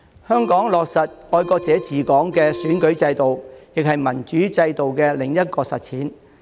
香港落實"愛國者治港"的選舉制度，亦是民主制度的另一種實踐。